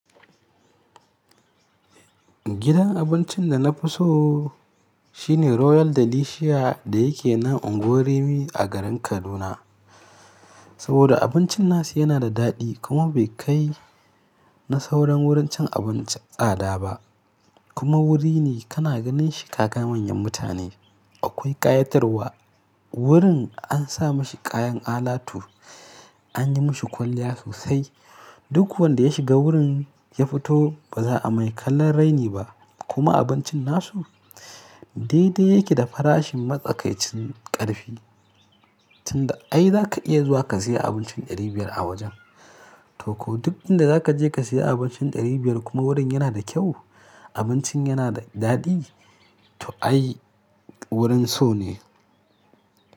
Gidan abincin da na fi so shine Royal Delicious da yake nan Unguwar Rimi a garin Kaduna. Saboda abincin nasu yana da daɗi kuma bai kai na sauran wurin cin abincin tsada ba. Kuma wuri ne kana ganin shi kaga manyan mutane. Akwai ƙayatarwa, wurin an sa mashi kayan alatu, an yi mashi kwalliya sosai. Duk wanda ya shiga wurin ya fito ba za a mai kallon raini ba. Kuma abincin nasu daidai yake da farashin matsakaicin ƙarfi. Tunda ai za ka iya zuwa ka sayi abincin ɗari biyar a wajen to ko duk inda za ka je ka sayi abincin ɗari biyar kuma wurin yana da kyau, abincin yana da daɗi, to ai wurin so ne.